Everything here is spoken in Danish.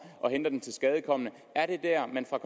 og henter den tilskadekomne er det dér man fra